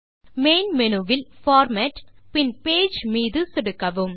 main menu வில் format பின் page மீது சொடுக்கவும்